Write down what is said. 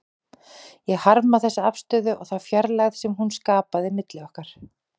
Ég harmaði þessa afstöðu og þá fjarlægð sem hún skapaði milli okkar.